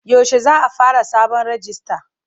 Yaushe za a fara sabon rijista?